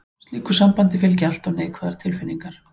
Slíku sambandi fylgja alltaf neikvæðar tilfinningar.